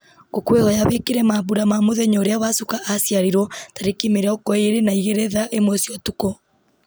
ngũkwĩhoya wĩkĩre mambura ma mũthenya ũrĩa wacuka aciarirwo tarĩki mĩrongo ĩĩrĩ na igĩrĩ thaa ĩmwe cia ũtukũ